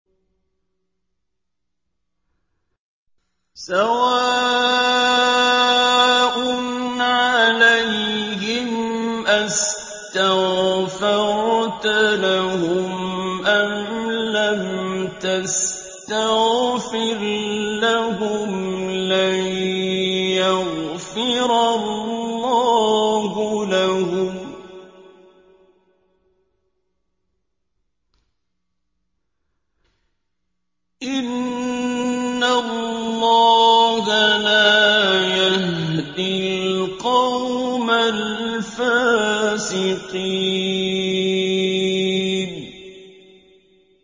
سَوَاءٌ عَلَيْهِمْ أَسْتَغْفَرْتَ لَهُمْ أَمْ لَمْ تَسْتَغْفِرْ لَهُمْ لَن يَغْفِرَ اللَّهُ لَهُمْ ۚ إِنَّ اللَّهَ لَا يَهْدِي الْقَوْمَ الْفَاسِقِينَ